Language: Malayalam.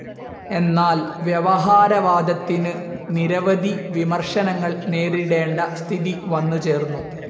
എന്നാൽ വ്യവഹാരവാദത്തിനു നിരവധി വിമർശനങ്ങൾ നേരിടേണ്ട സ്ഥിതി വന്നുചേർന്നു.